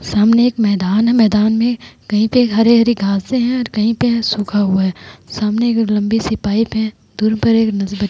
सामने एक मैदान है मैदान में कही पे हरी-हरी घासे है और कही पे सुखा हुआ है। सामने एक लम्बी सी पाइप है। दूर पर एक--